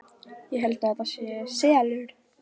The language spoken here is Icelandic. Ég held að þetta sé SELUR!